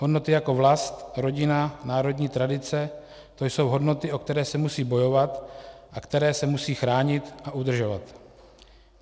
Hodnoty jako vlast, rodina, národní tradice, to jsou hodnoty, o které se musí bojovat a které se musí chránit a udržovat.